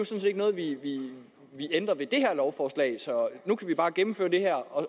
set ikke noget vi ændrer ved det her lovforslag så nu kan vi bare gennemføre det her og